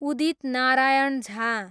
Udit Narayan Jha